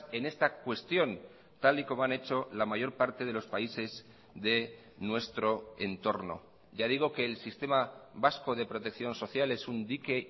en esta cuestión tal y como han hecho la mayor parte de los países de nuestro entorno ya digo que el sistema vasco de protección social es un dique